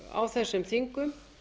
á þessum þingum